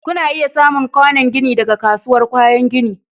Kuna iya samun kwanon gini daga kasuwar kayan gini.